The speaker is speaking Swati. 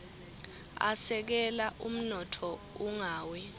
asekela umnotfo ungawi